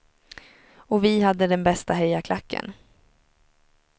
Och vi hade den bästa hejarklacken.